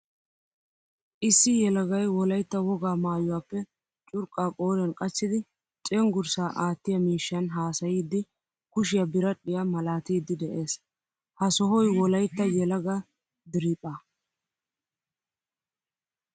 Issi yelagay wolaytta wogaa maayuwappe curqqa qoriyan qachchidi cenggurssa aattiyaa miishshan haasayiidi kushiyaa biradhdhiyaa malaattiidi de'ees. Ha sohoy wolaytta yelaga diriphphaa.